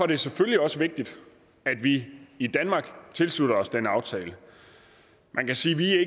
det selvfølgelig også vigtigt at vi i danmark tilslutter os den aftale man kan sige at vi